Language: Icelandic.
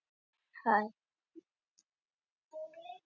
Fyrirgefðu, en getur verið að þetta sé húfan mín sem þú ert með á höfðinu?